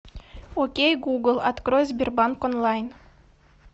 окей гугл открой сбербанк онлайн